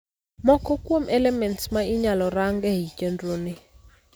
Moko kuom elements ma inyalo rang ei chendro ni